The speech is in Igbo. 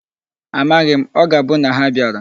Amaghi m. O ga-abu na ha bịara.